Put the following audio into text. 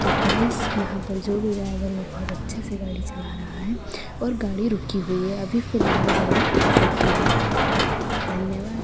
तो गाइस यहाँ पर जो भी ड्राइवर है वो बहुत अच्छे से गाड़ी चला रहा है और गाड़ी रुकी हुई है अभी फिलहाल गाड़ी रुकी हुई है धन्यवाद--